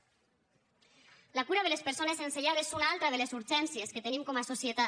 la cura de les persones sense llar és una altra de les urgències que tenim com a societat